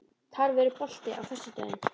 Tarfur, er bolti á föstudaginn?